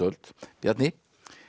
öld Bjarni